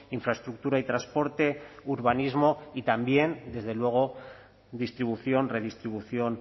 infraestructura y transporte urbanismo y también desde luego distribución redistribución